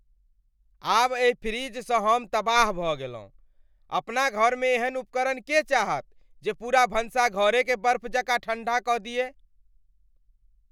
आब एहि फ्रिजसँ हम तबाह भऽ गेलहुँ। अपना घरमे एहन उपकरण के चाहत जे पूरा भनसाघरेकेँ बर्फ जकाँ ठंढा कऽ दिअय।